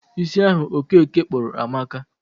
Isi ahu okeke kpuru amaka